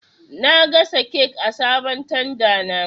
Na gasa kek a sabon tanda na